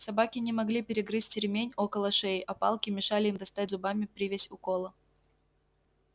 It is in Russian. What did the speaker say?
собаки не могли перегрызть ремень около шеи а палки мешали им достать зубами привязь у кола